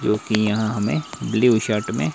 जो की यहां हमें ब्लू शर्ट में--